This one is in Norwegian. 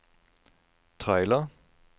trailer